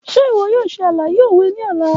Ṣe iwọ yoo ṣe alaye owe ni ọla?